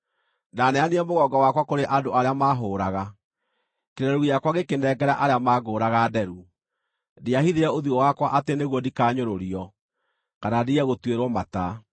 Ndaneanire mũgongo wakwa kũrĩ andũ arĩa maahũũraga, kĩreru gĩakwa ngĩkĩnengera arĩa maangũũraga nderu; ndiahithire ũthiũ wakwa atĩ nĩguo ndikanyũrũrio, kana ndige gũtuĩrwo mata.